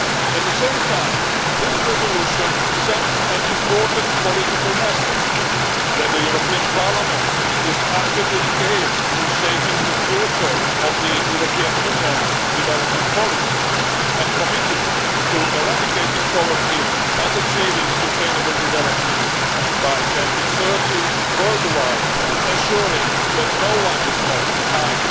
At the same time, this resolution sends an important political message that the European Parliament is actively engaged in shaping the future of the European Union's development policy and is committed to eradicating poverty and achieving sustainable development by 2030 worldwide, ensuring that no one is left behind.